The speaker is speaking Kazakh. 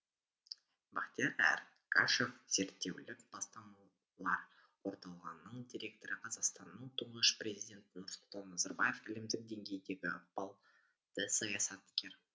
бахтияр эргашев зерттеулік бастамалар орталығының директоры қазақстанның тұңғыш президенті нұрсұлтан назарбаев әлемдік деңгейдегі ықпалды саясаткер